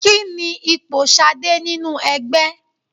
Kí ni ipò Ṣadé nínú ẹgbẹ́?